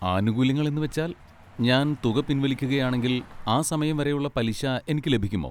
ആനുകൂല്യങ്ങൾ എന്നുവെച്ചാൽ, ഞാൻ തുക പിൻവലിക്കുകയാണെങ്കിൽ, ആ സമയം വരെയുള്ള പലിശ എനിക്ക് ലഭിക്കുമോ?